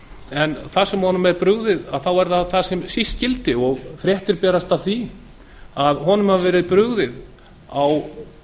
en þar sem honum er brugðið þá er það þar sem síst skyldi fréttir berast af því að honum hafi verið brugðið á